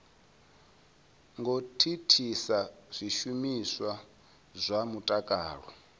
ngo thithisa zwishumiswa zwa mutakalo